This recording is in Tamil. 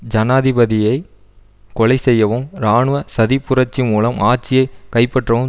ஜனாதிபதியை கொலை செய்யவும் இராணுவ சதிப் புரட்சி மூலம் ஆட்சியை கைப்பற்றவும்